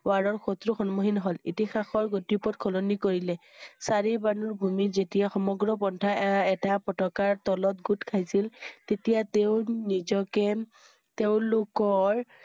war ৰ শত্ৰু সন্মুখীন হল। ইতিহাসৰ গতিপথ সলনি কৰিলে। চাৰি ভানুৰ ভূমিত যেতিয়া সমগ্ৰ সন্থা এ~এটা পতাকাৰ তলত গোট খাইছিল তেতিয়া তেওঁ নিজকে তেওঁলো~কৰ